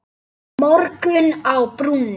Morgunn á brúnni